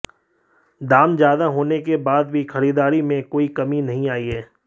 दाम ज्यादा होने के बाद भी खरीदारी में कोई कमी नहीं आई है